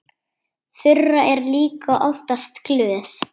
Þura er líka oftast glöð.